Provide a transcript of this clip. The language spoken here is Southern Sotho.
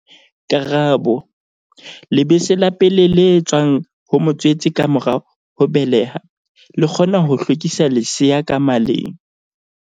Karabo- Lebese la pele le tswang ho motswetse ka mora ho beleha, le kgona ho hlwekisa lesea ka maleng.